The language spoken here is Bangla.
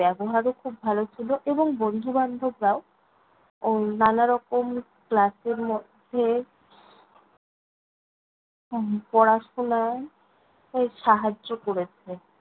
ব্যবহারও খুব ভালো ছিল এবং বন্ধু-বান্ধবরাও উম নানারকম class এর মধ্যে উম পড়াশোনায় সাহায্য করেছে।